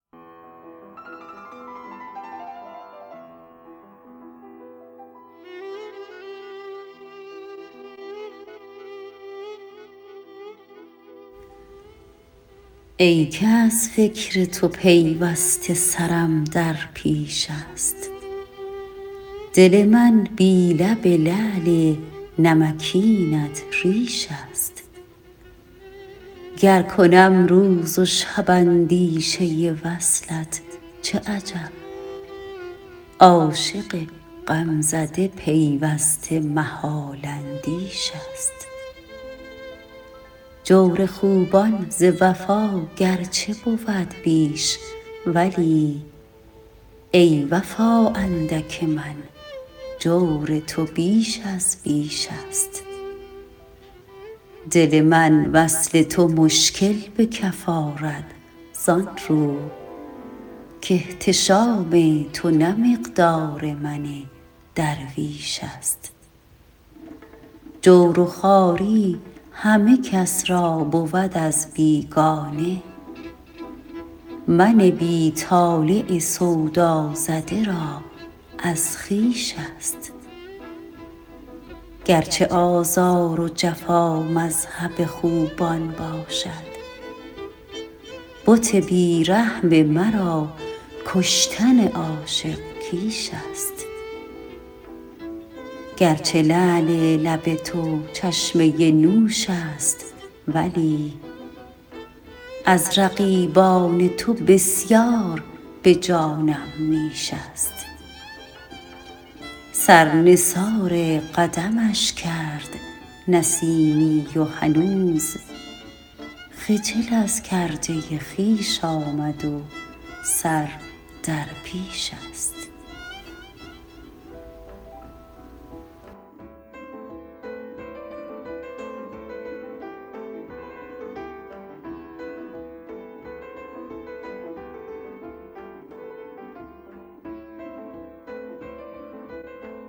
ای که از فکر تو پیوسته سرم در پیش است دل من بی لب لعل نمکینت ریش است گر کنم روز و شب اندیشه وصلت چه عجب عاشق غمزده پیوسته محال اندیش است جور خوبان ز وفا گرچه بود بیش ولی ای وفا اندک من جور تو بیش از بیش است دل من وصل تو مشکل به کف آرد زانرو کاحتشام تو نه مقدار من درویش است جور و خواری همه کس را بود از بیگانه من بی طالع سودا زده را از خویش است گرچه آزار و جفا مذهب خوبان باشد بت بی رحم مرا کشتن عاشق کیش است گرچه لعل لب تو چشمه نوش است ولی از رقیبان تو بسیار به جانم نیش است سر نثار قدمش کرد نسیمی و هنوز خجل از کرده خویش آمد و سر در پیش است